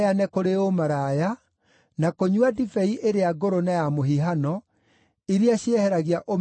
kũrĩ ũmaraya, na kũnyua ndibei ĩrĩa ngũrũ na ya mũhihano, iria cieheragia ũmenyo